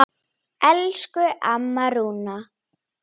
Spjalla og þegja saman.